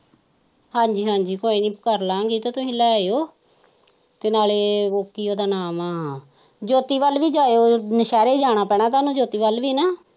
ਹਾਜੀ ਹਾਜੀ ਕੋਈ ਨਹੀਂ ਕਰ ਲਾਗੇ ਤੁਸੀ ਲੈ ਆਓ ਤੇ ਨਾਲੇ ਕੀ ਉਹਦਾ ਨਾ ਹੈ ਜੋਤਿ ਵੱਲ ਵੀ ਜਾਓ ਸਾਰੇ ਜਾਣਾ ਪੈਣਾ ਹੈ ਤੁਹਾਨੂੰ ਜੋਤਿ ਵੱਲ ਵੀ ਨਾ।